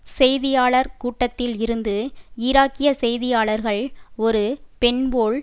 செய்தியாளர் கூட்டத்தில் இருந்து ஈராக்கிய செய்தியாளர்கள் ஒரு பெண் போல்